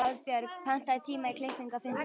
Hafbjörg, pantaðu tíma í klippingu á fimmtudaginn.